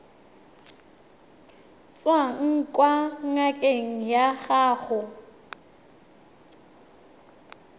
tswang kwa ngakeng ya gago